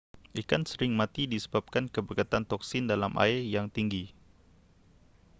ikan sering mati disebabkan kepekatan toksin dalam air yang tinggi